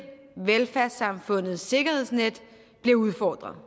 velfærdssamfundets sikkerhedsnet bliver udfordret